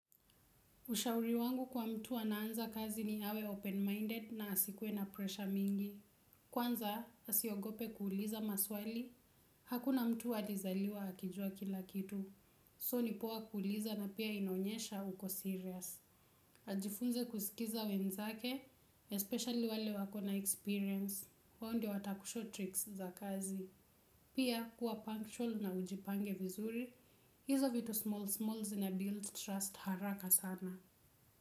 Ushauri wangu kwa mtu anaanza kazi ni awe 'open-minded' na asikuwe na 'pressure' mingi. Kwanza, asiogope kuuliza maswali, hakuna mtu alizaliwa akijua kila kitu. 'So', ni poa kuuliza na pia inaonyesha uko 'serious'. Ajifunze kusikiza wenzake, 'especially' wale wako na 'experience'. Wao ndio watakushoo 'tricks' za kazi. Pia, kuwa 'punctual' na ujipange vizuri. Hizo vitu 'small' 'smalls' sina 'build' 'trust' haraka sana.